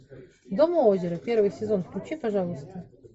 дом у озера первый сезон включи пожалуйста